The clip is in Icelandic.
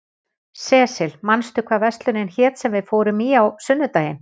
Sesil, manstu hvað verslunin hét sem við fórum í á sunnudaginn?